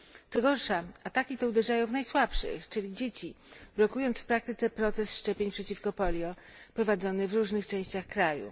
Co gorsza, ataki te uderzają w najsłabszych, czyli dzieci, blokując w praktyce proces szczepień przeciwko polio, prowadzony w różnych częściach kraju.